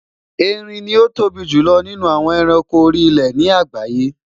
Erin ni o tóbi julọ ninu awọn ẹranko ori ile ni agbaye